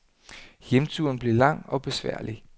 Hjemturen blev lang og besværlig.